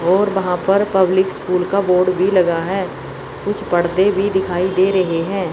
और वहां पर पब्लिक स्कूल का बोर्ड भी लगा है कुछ पर्दे भी दिखाई दे रहे हैं।